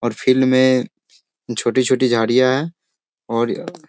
और फील्ड में छोटी-छोटी झाड़ियां है और --